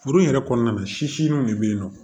Furu in yɛrɛ kɔnɔna na siriw de bɛ yen nɔ